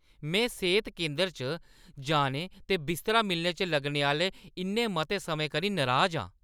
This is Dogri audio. में सेह्‌त केंदर च जाने ते बिस्तरा मिलने च लग्गने आह्‌ले इन्ने मते समें करी नराज हा।